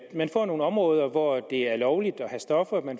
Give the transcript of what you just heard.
man får nogle områder hvor det er lovligt at have stoffer på